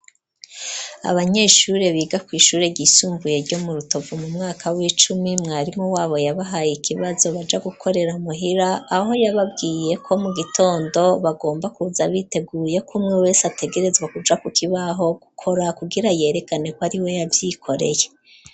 Abanyeshure biga ku ishure ryisumbuye ryo mu rutovu mu mwaka w'icumi mwarimu wabo yabahaye ikibazo baja gukorera muhira aho yababwiye ko mu gitondo bagomba kuza biteguyeko umwe wese ategerezwa kuja ku kibaho gukora kugira yerekane ko ari we yavyikoreye.